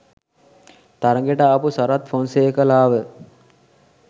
තරගෙට ආපු සරත් ෆොන්සේකාලාව